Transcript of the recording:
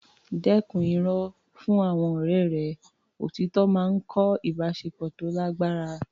Dẹ́kun irọ́ fún àwọn ọ̀rẹ́ rẹ; Òtítọ́ máa ń kọ́ ìbáṣepọ̀ tó lágbára.